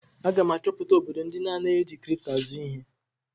Aga m achọpụta obodo ndị anaghị eji kripto azụ ihe.